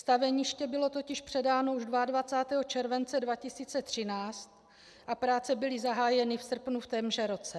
Staveniště bylo totiž předáno už 22. července 2013 a práce byly zahájeny v srpnu v témže roce.